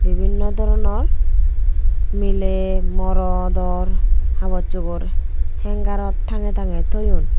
bibinow doronor miley morodor habosugor hengarot tangey tangey toyon.